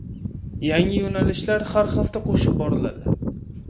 Yangi yo‘nalishlar har hafta qo‘shib boriladi.